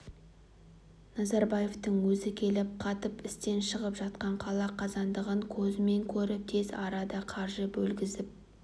назарбаевтың өзі келіп қатып істен шығып жатқан қала қазандығын көзімен көріп тез арада қаржы бөлгізіп